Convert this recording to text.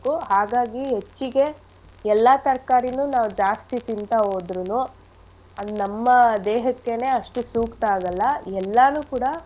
ಹಾಗಾಗಿ ಹೆಚ್ಚಿಗೆ ಎಲ್ಲಾ ತರ್ಕಾರಿನೂ ನಾವ್ ಜಾಸ್ತಿ ತಿಂತಾ ಹೋದ್ರುನು ಅದ್ ನಮ್ಮ ದೇಹಕ್ಕೆನೇ ಅಷ್ಟು ಸೂಕ್ತ ಆಗಲ್ಲ ಎಲ್ಲಾನೂ ಕೂಡ.